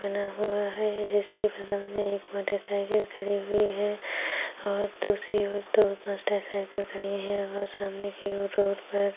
बना हुवा है जिसके बगल में एक मोटरसाइकिल खड़ी हुई है और दूसरी ओर दो मोटरसाइकिल खड़ी है और सामने की और रोड पर --